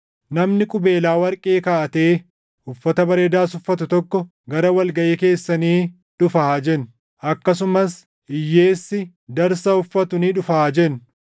Namni qubeelaa warqee kaaʼatee uffata bareedaas uffatu tokko gara wal gaʼii keessanii dhufa haa jennu; akkasumas hiyyeessi darsa uffatu ni dhufa haa jennu.